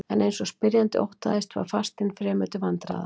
En eins og spyrjandi óttaðist var fastinn fremur til vandræða.